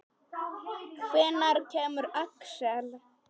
Hvenær kemur Axel?